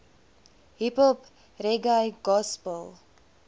hiphop reggae gospel